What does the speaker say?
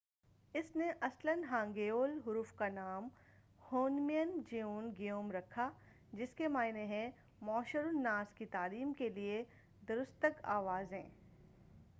اس نے اصلاً ہانگیول حروف کا نام ہونمین جیون گیوم رکھا جس کے معنی ہیں معشر الناس کی تعلیم کے لئے درستگ آوازیں